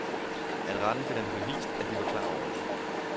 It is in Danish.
At retten finder det bevist, at de var klar over det.